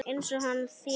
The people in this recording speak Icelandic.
Eins og hann þénar!